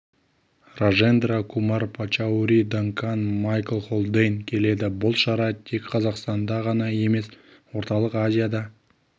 ражендра кумар пачаури данкан майкл холдейн келеді бұл шара тек қазақстанда ғана емес орталық азияда